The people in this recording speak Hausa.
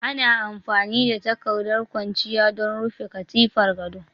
Ana amfani da takardar kwanciya don rufe katifar gado